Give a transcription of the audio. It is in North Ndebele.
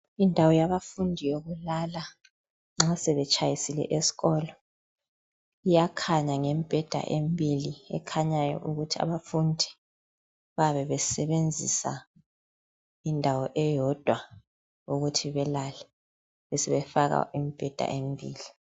Indawo yabafundi yokulala nxa sebetshayisile esikolo iyakhanya ngemibheda embili ekhanyayo ukuthi abafundi bayabe besebenzisa indawo eyodwa ukuthi balale besebefaka imibheda emibili.